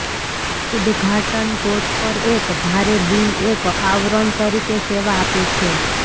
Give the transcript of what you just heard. ઉદઘાટન ટોચ પર એક ભારે બીમ એક આવરણ તરીકે સેવા આપે છે